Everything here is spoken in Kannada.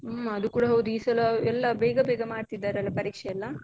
ಹ್ಮ್, ಅದುಕೂಡ ಹೌದು. ಈ ಸಲ ಎಲ್ಲ ಬೇಗ ಬೇಗ ಮಾಡ್ತಿದ್ದಾರಲ್ಲ ಪರೀಕ್ಷೆ ಎಲ್ಲ.